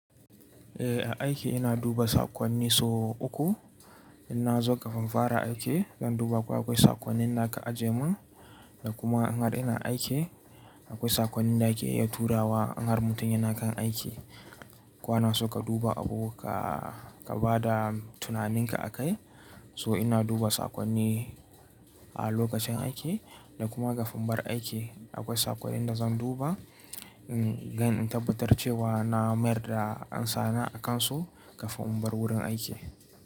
Eh, a aiki ina duba saƙonni so uku. Inna zo kafin fara aiki, zan duba ko akwai saƙonnin da aka aje mun da kuma in har ina aiki, akwai saƙonnin da ake tura wa in har mutum yana kan aiki. Ko so ka duba abu ka, ka bada tunaninka a kai. So ina duba saƙonni a lokacin aiki da kuma kafin bar aiki. Akwai saƙonnin da zan duba, in gan in tabbatar cewa na mayar da amsana a kansu kafin in bar wurin aiki.